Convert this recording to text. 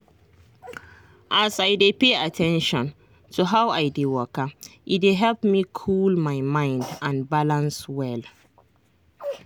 as i dey pay at ten tion to how i dey waka e dey help me cool my mind and balance well.